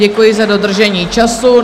Děkuji za dodržení času.